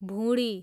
भुँडी